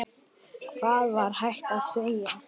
Hvað var hægt að segja?